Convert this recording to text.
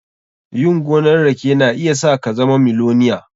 Yin gonan rake na iya sa ka zama miloniya.